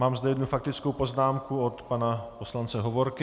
Mám zde jednu faktickou poznámku od pana poslance Hovorky.